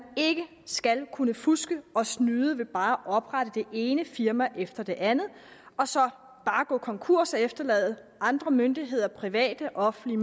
ikke skal kunne fuske og snyde ved bare at oprette det ene firma efter det andet og så bare gå konkurs og efterlade andre myndigheder private og offentlige